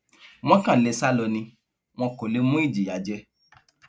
wọn kàn lè sá lọ ni wọn kò lè mú ìjìyà jẹ